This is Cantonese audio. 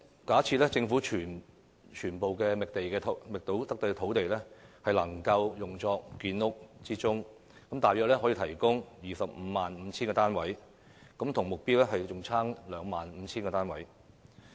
假設政府將所有覓得的土地均用作建屋之用，約可提供 255,000 個公營房屋單位，但仍較目標相差 25,000 個單位。